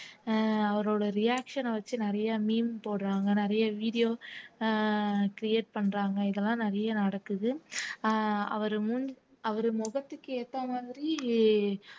அஹ் அவரோட reaction அ வச்சு நிறைய meme போடுறாங்க நிறைய video அஹ் create பண்றாங்க இதெல்லாம் நிறைய நடக்குது அஹ் அவரு முன் அவரு முகத்துக்கு ஏத்த மாதிரி